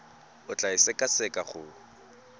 o tla e sekaseka go